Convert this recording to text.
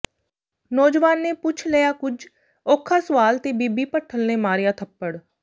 ਨੌਜਵਾਨ ਨੇ ਪੁੱਛ ਲਿਆ ਕੁਝ ਔਖਾ ਸੁਆਲ ਤੇ ਬੀਬੀ ਭੱਠਲ ਨੇ ਮਾਰਿਆ ਥੱਪੜ